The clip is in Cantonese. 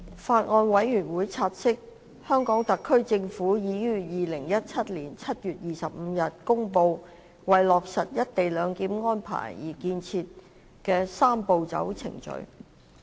法案委員會察悉，香港特別行政區政府已於2017年7月25日公布為落實"一地兩檢"安排而建議的"三步走"程序。